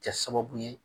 Kɛ sababu ye